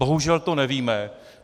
Bohužel to nevíme.